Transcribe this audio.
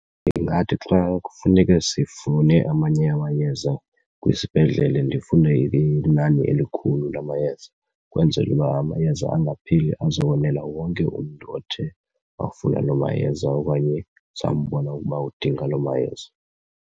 Ndingathi xa kufuneke sifune amanye amayeza kwisibhedlele ndifune inani elikhulu lamayeza ukwenzele uba amayeza angapheli, azokonela wonke umntu othe wafuna loo mayeza okanye sambona ukuba udinga loo mayeza.